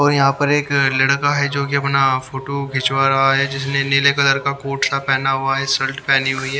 और यहां पर एक लड़का है जो कि अपना फोटो खिंचवा रहा है जिसने नीले कलर का कोट सा पहना हुआ है शर्ट पहनी हुई है।